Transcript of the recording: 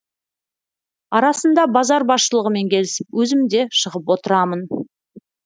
арасында базар басшылығымен келісіп өзім де шығып отырамын